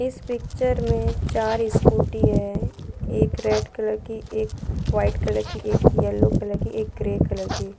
इस पिक्चर में चार स्कूटी है एक रेड कलर की एक वाइट कलर की एक येलो कलर की एक ग्रे कलर की --